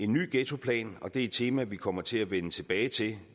ny ghettoplan og det er et tema vi kommer til at vende tilbage til